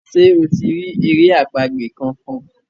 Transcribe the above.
ṣe o ti ri èrè àpagbè kán kán?